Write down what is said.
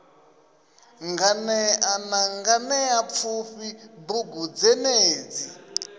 nganea na nganeapfufhi bugu dzenedzi